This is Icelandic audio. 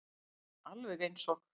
Alveg eins og